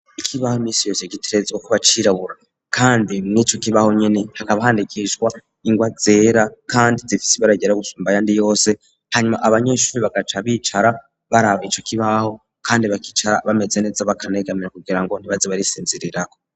Ikibaho imisi yose gitegerezwa kuba cirabura kandi murico kibaho nyene hakaba handikishwa ingwa zera kandi zifisi ibara ryera gusumba ayandi yose hanyuma abanyeshuri bagaca bicara baraba ico kibaho kandi bakicara bameze neza bakanegamira kugira ngo ntibaze bari sinzirirako.